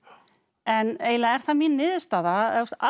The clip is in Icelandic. en eiginlega er það mín niðurstaða